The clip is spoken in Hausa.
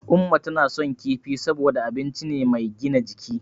Umma tana son kifi saboda abinci ne mai gina jiki.